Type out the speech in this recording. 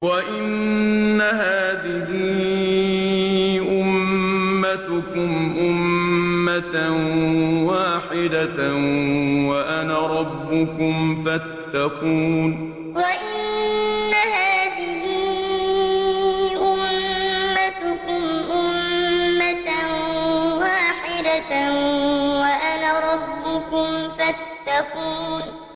وَإِنَّ هَٰذِهِ أُمَّتُكُمْ أُمَّةً وَاحِدَةً وَأَنَا رَبُّكُمْ فَاتَّقُونِ وَإِنَّ هَٰذِهِ أُمَّتُكُمْ أُمَّةً وَاحِدَةً وَأَنَا رَبُّكُمْ فَاتَّقُونِ